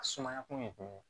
A sumaya kun ye jumɛn ye